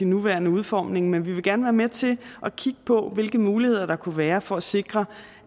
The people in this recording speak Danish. nuværende udformning men vil gerne være med til at kigge på hvilke muligheder der kunne være for at sikre